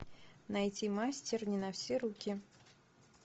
найти мастер не на все руки